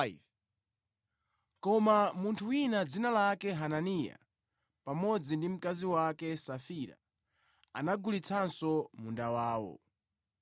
Koma munthu wina dzina lake Hananiya, pamodzi ndi mkazi wake Safira, anagulitsanso munda wawo.